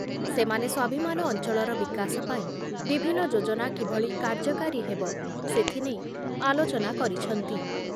ସେମାନେ ସ୍ଵାଭିମାନ ଅଞ୍ଚଳର ବିକାଶ ପାଇଁ ବିଭିନ୍ନ ଯୋଜନା କିଭଳି କାର୍ଯ୍ୟକାରୀ ହେବ ସେଥିନେଇ ଆଲୋଚନା କରିଛନ୍ତି ।